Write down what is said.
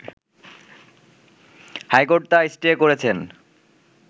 high court তা stay করেছেন